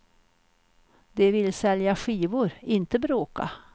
De vill sälja skivor, inte bråka.